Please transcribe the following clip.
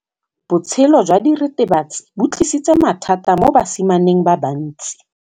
Botshelo jwa diritibatsi ke bo tlisitse mathata mo basimaneng ba bantsi.